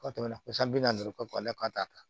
Ka tɛmɛ ko san bi naani kɔ a la k'a t'a ta